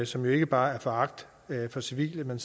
som ikke bare er foragt for civile men